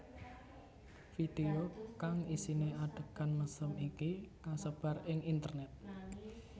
Video kang isiné adhegan mesum iki kasebar ing internét